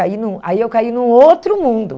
Aí num aí eu caí num outro mundo.